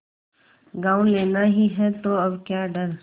गॉँव लेना ही है तो अब क्या डर